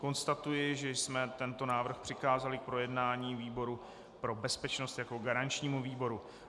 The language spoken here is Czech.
Konstatuji, že jsme tento návrh přikázali k projednání výboru pro bezpečnost jako garančnímu výboru.